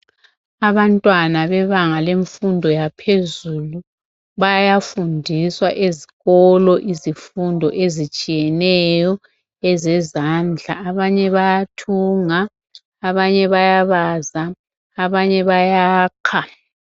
Abantwana bebanga lemfundo yaphezulu bayafundiswa ezikolo izifundo ezitshiyeneyo ezezandla abanye bayathunga abanye bayabaza abanye bayakha.